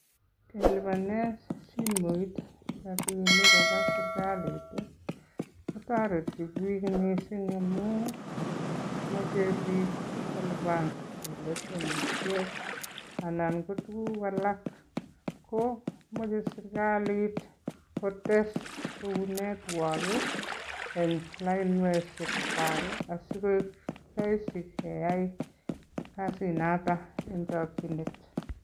Kelipanen simoit rabinik koba serkalit ii, kotoreti biik mising amun imuche biik kolipanen leshenishek anan ko tugul alak. Ko moche serkalit kotes kou network en lainishekwag asikoik rahisi keyai kasit noto en chokinet.